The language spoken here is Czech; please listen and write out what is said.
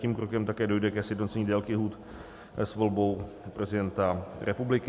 Tím krokem také dojde ke sjednocení délky lhůt s volbou prezidenta republiky.